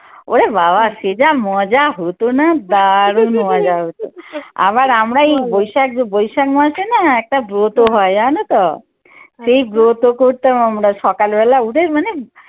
ওরে বাবা সে যা মজা হত না, দারুন মজা হতো। আবার আমরা এই বৈশাখ~ বৈশাখ মাসে একটা ব্রত হয় যেন তো? সেই ব্রত করতাম আমরা সকাল বেলা উঠে মানে